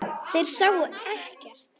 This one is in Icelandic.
Þeir sáu ekkert.